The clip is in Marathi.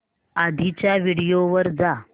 आधीच्या व्हिडिओ वर जा